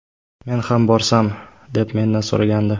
Men ham borsam”, deb mendan so‘ragandi.